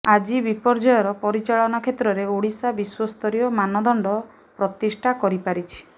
ଆଜି ବିପର୍ଯ୍ୟୟର ପରିଚାଳନା କ୍ଷେତ୍ରରେ ଓଡ଼ିଶା ବିଶ୍ୱସ୍ତରୀୟ ମାନଦଣ୍ଡ ପ୍ରତିଷ୍ଠା କରିପାରିଛି